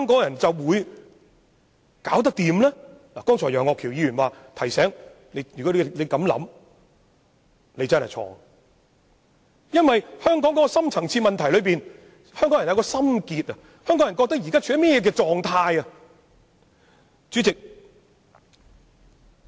楊岳橋議員剛才已提醒我們，如有此想法便錯了，因為香港的深層次問題在於香港人的心結，在於他們對香港現狀的想法。